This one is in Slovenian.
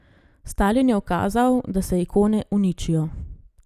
Stalin je ukazal, da se ikone uničijo.